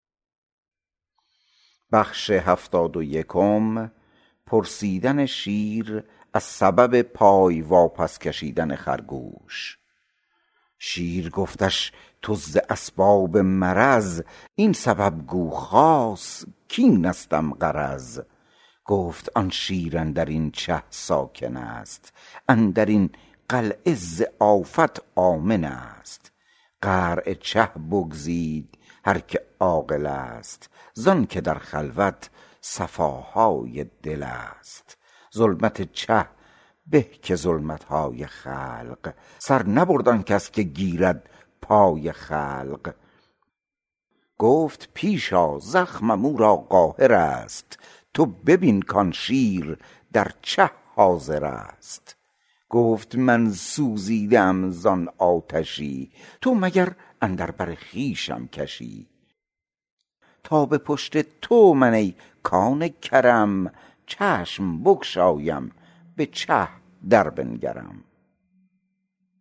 شیر گفتش تو ز اسباب مرض این سبب گو خاص کاینستم غرض گفت آن شیر اندرین چه ساکنست اندرین قلعه ز آفات آمنست قعر چه بگزید هر که عاقلست زانک در خلوت صفاهای دلست ظلمت چه به که ظلمتهای خلق سر نبرد آنکس که گیرد پای خلق گفت پیش آ زخمم او را قاهرست تو ببین کان شیر در چه حاضرست گفت من سوزیده ام زان آتشی تو مگر اندر بر خویشم کشی تا به پشت تو من ای کان کرم چشم بگشایم بچه در بنگرم